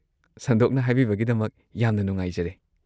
ꯁꯟꯗꯣꯛꯅ ꯍꯥꯏꯕꯤꯕꯒꯤꯗꯃꯛ ꯌꯥꯝꯅ ꯅꯨꯡꯉꯥꯏꯖꯔꯦ꯫